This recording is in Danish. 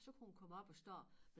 Så kunne hun komme op at stå